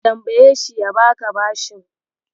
Ka tambayeshi ya baka bashin.